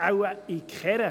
Wahrscheinlich in keiner.